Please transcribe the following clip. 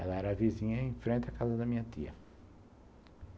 Ela era vizinha em frente à casa da minha tia.